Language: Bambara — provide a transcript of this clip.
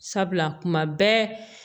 Sabula kuma bɛɛ